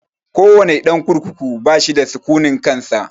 Ko wane ɗan kurkuku bashi da sukunin kansa